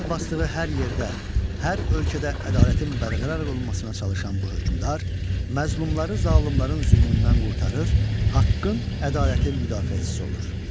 Ayaq basdığı hər yerdə, hər ölkədə ədalətin bərqərar olunmasına çalışan bu hökmdar məzlumları zalımların zülmündən qurtarır, haqqın, ədalətin müdafiəçisi olur.